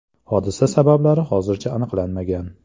Hodisa sabablari hozircha aniqlanmagan.